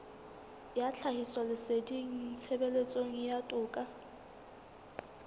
ya tlhahisoleseding tshebetsong ya toka